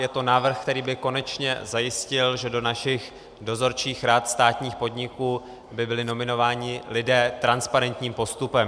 Je to návrh, který by konečně zajistil, že do našich dozorčích rad státních podniků by byli nominováni lidé transparentním postupem.